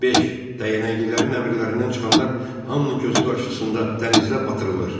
Dəyənəklilərin əmrlərindən çıxanlar hamının gözü qarşısında dənizdə batırılır.